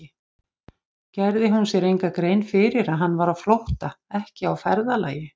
Gerði hún sér enga grein fyrir að hann var á flótta, ekki á ferðalagi?